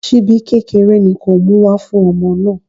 Ṣíbí kékeré ni kó o mú wá fún ọmọ náà.